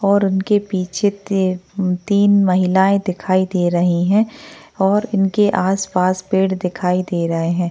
और उनके पीछे ते तीन महिलाए दिखाई दे रही है और उनके आसपास पेड़ दिखाई दे रहे है।